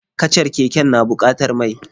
Kacar keken na bukatar mai.